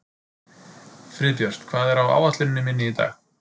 Friðbjört, hvað er á áætluninni minni í dag?